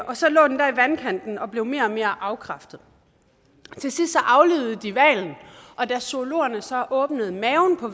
og så lå den der i vandkanten og blev mere og mere afkræftet til sidst aflivede de hvalen og da zoologerne så åbnede maven på